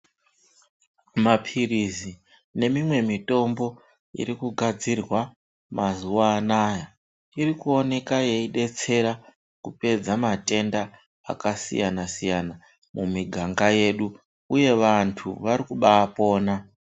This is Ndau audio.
Mapirizi nemimwe mitombo irikugadzirwa mazuwa anaya irikuonekwa yeidetsera kupedza matenda akasiyana siyana mumiganga yedu uye vantu varikubapona.